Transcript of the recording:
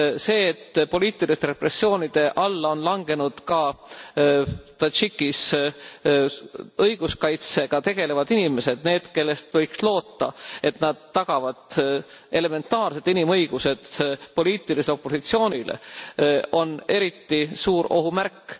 See et poliitiliste repressioonide alla on langenud ka Tadžikis õiguskaitsega tegelevad inimesed, need kellest võiks loota, et nad tagavad elementaarsed inimõigused poliitilisele opositsioonile, on eriti suur ohumärk.